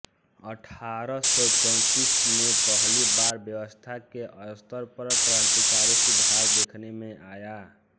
अठारह सौ चौंतीस में पहली बार व्यवस्था के स्तर पर क्रांतिकारी सुधार देखने में आया